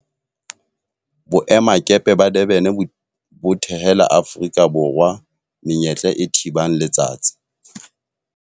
Boemakepe ba Durban bo thehela Aforika Borwa menyetla e thibang letsatsi